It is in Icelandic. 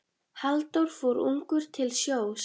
Halldór fór ungur til sjós.